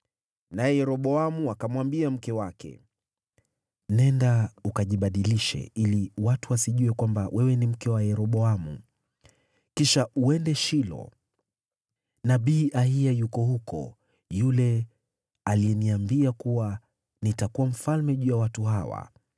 naye Yeroboamu akamwambia mke wake, “Nenda ukajibadilishe, ili watu wasijue kwamba wewe ni mke wa Yeroboamu. Kisha uende Shilo. Nabii Ahiya yuko huko, yule aliyeniambia kuwa nitakuwa mfalme juu ya watu hawa.